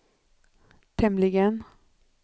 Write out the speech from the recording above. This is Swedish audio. tämligen